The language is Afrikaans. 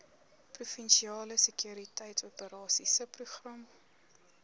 provinsiale sekuriteitsoperasies subprogram